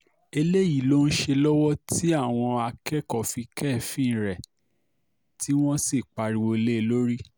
eléyìí ló ń ṣe lọ́wọ́ tí àwọn akẹ́kọ̀ọ́ fi kẹ́ẹ́fín rẹ̀ tí wọ́n sì pariwo lé e lórí